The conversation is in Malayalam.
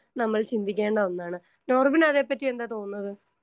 സ്പീക്കർ 1 നമ്മൾ ചിന്തിക്കേണ്ട ഒന്നാണ്. നോർമൽ അതെപ്പറ്റി എന്താണ് തോന്നുന്നത്?